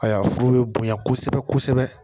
Ayiwa foro be bonya kosɛbɛ kosɛbɛ